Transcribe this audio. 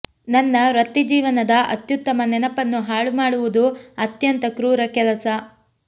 ನನ್ನ ವೃತ್ತಿಜೀವನದ ಅತ್ಯುತ್ತಮ ನೆನಪನ್ನು ಹಾಳು ಮಾಡುವುದು ಅತ್ಯಂತ ಕ್ರೂರ ಕೆಲಸ